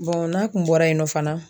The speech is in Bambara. n'a kun bɔra yen nɔ fana.